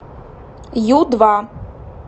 ю два